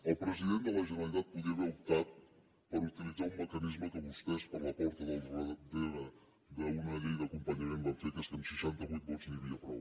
el president de la generalitat podia haver optat per utilitzar un mecanisme que vostès per la porta del darrere en una llei d’acompanyament van fer que és que amb seixanta vuit vots n’hi havia prou